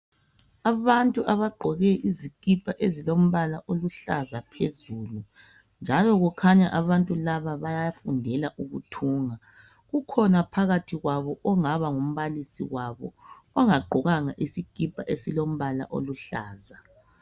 Abantu abagqoke izikipa ezilombala oluhlaza phezulu njalo kukhanya abantu laba bayafundela ukuthunga kukhona phakathi kwabo ongaba ngumbalisi wabo ongagqokanga isikipa esilombala oluhlaza.